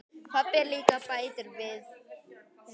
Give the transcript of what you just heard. Pabbi líka, bætir hún við.